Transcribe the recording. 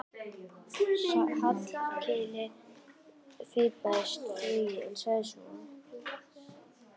Hallkeli fipaðist flugið en sagði svo